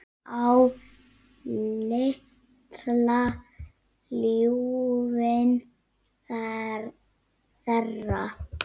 Á litla ljúfinn þeirra.